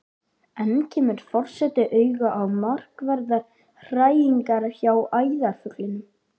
Enn kemur forseti auga á markverðar hræringar hjá æðarfuglinum.